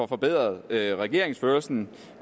forbedret regeringsførelsen